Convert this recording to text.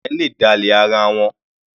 Ọ̀rẹ́ le dálẹ̀ ara wọn.